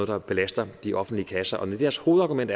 der belaster de offentlige kasser og når deres hovedargument